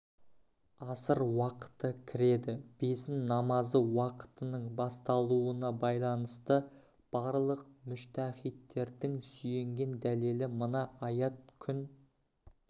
аср уақыты кіреді бесін намазы уақытының бастауына байланысты барлық мүжтәһиттердің сүйенген дәлелі мына аят күн